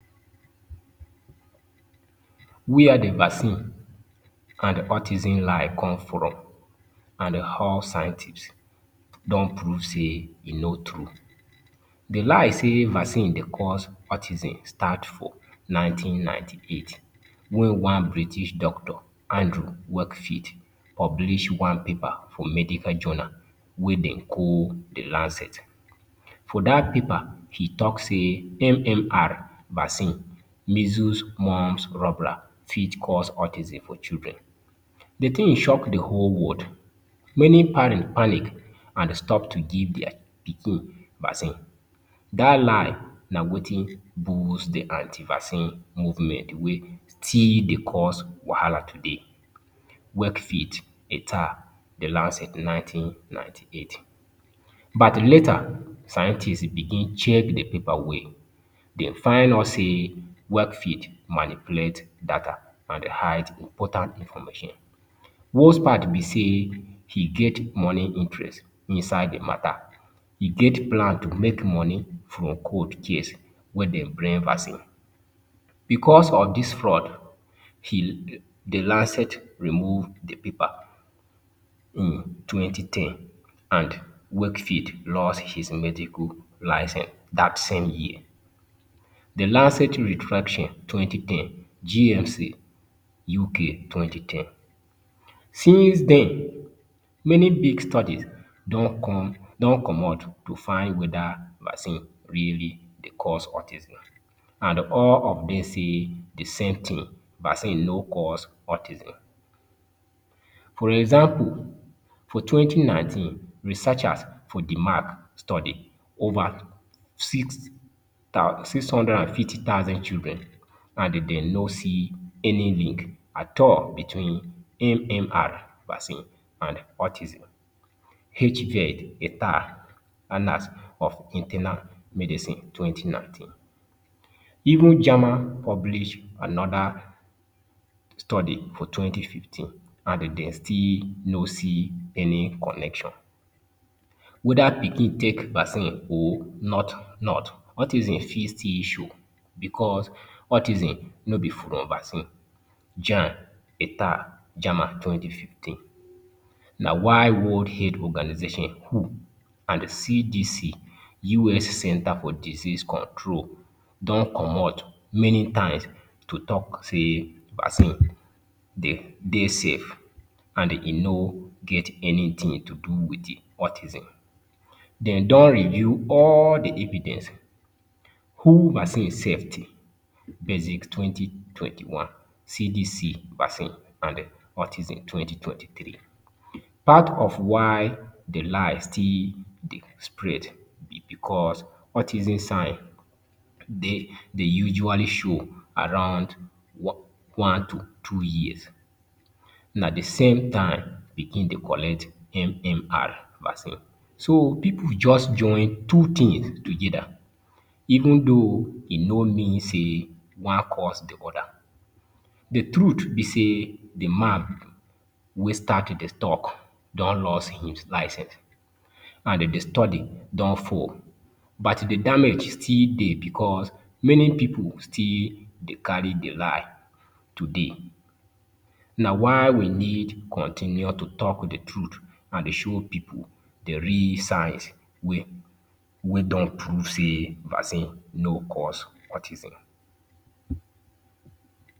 Where d vaccine and autism lie come from and how scientists don prove say e no tru, d lie say vaccine Dey cause autism start for nineteen ninety eight wen one British doctor Andrew Wakefield publish one paper for medical journal wey dem call d Lancet, for dat paper e talk say MMR vaccine measles, mumps and rubella fit cause autism for children, d tin shock d whole world many parent panic and stop to give their pikin vaccine, dat lie na Wetin boost d anti vaccine movement wey still Dey cause wahala today, Wakefield di last nineteen ninety eight, but later scientists begin check d paper well dem find out say workfield manipulate data and hide important information worse part b say e get money interest inside d matter e get plan to make money for cold case wey Dey bring vaccine, because of dis fraud the Lancet remove d paper in twenty ten and wakefield lost his medical license dat same year, d lancet retraction twenty ten GMC UK twenty ten since den many big studies don commot to find weda vaccine really Dey cause autism and all of dem say d same tin vaccine no cause autism. For example for twenty nineteen researchers for d mark study over six hundred and fifty thousand children and dem b no see any link at all between MMR vaccine and autism- Hviid of internal medicine twenty nineteen, even German publish anoda study for twenty fifteen and dem still no see any connection, weda pikin take vaccine or not autism fit still show because autism no from vaccine - German twenty fifteen, na why World Health Organization (WHO) and CDC (US Center for Disease Control) don commot many times to talk say vaccine Dey safe and e no get anytin to do with autism, dem don review all d evidence, who vaccine safety basic twenty twenty one CDC vaccine and autism twenty twenty three, part of why d lie still Dey spread na because autism sign Dey usually show around one to two years na d same time pikin Dey collect MMR vaccine so pipu just join two things togeda even though e no mean say one cause d oda d truth b say man wey start d talk don lost don im license and d study don fall but d damage still Dey because many pipu still Dey carry d lie today, na why we need continue to talk d truth and show pipu d real signs wey Wey don prove say vaccine no cause autism.